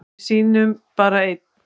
Við sýnum bara ein